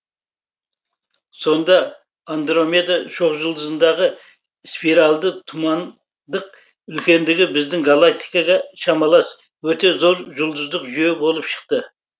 сонда андромеда шоқжұлдызындағы спиральды тұман дық үлкендігі біздің галактикаға шамалас өте зор жұлдыздық жүйе болып шықты